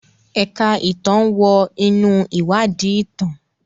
Ẹ̀ka ìtàn wọ inú ìwádìí ìtàn.